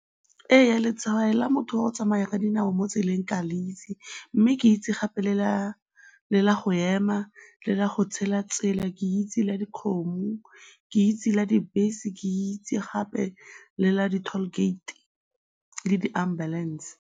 Eya, letshwao la motho wa go tsamaya ka dinao mo tseleng ke a le itse mme ke itse gape le la go ema, le la go tshela tsela, ke itse la dikgomo, ke itse la dibese, ke itse gape le la di-toll gate le di-ambulance.